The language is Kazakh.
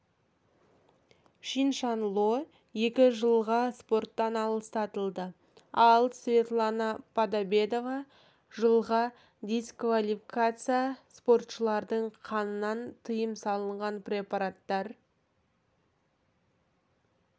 чиншанло екі жылға спорттан аластатылды ал светлана подобедова жылға дисквалификация спортшылардың қанынан тыйым салынған препараттар